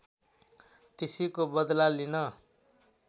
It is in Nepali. त्यसैको बदला लिन